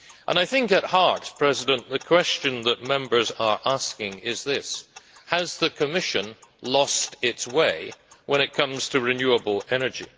I think at heart the question that Members are asking is this has the Commission lost its way when it comes to renewable energy?